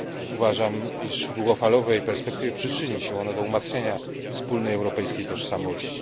Uważam, iż w długofalowej perspektywie przyczyni się ono do umacniania wspólnej europejskiej tożsamości.